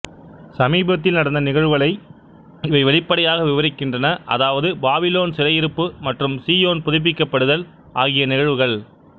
சமீபத்தில் நடந்த நிகழ்வுகளை இவை வெளிப்படையாக விவரிக்கின்றன அதாவது பாபிலோன் சிறையிருப்பு மற்றும் சீயோன் புதுப்பிக்கப்படுதல் ஆகிய நிகழ்வுகள்